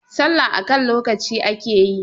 sallah a kan lokaci ake yi!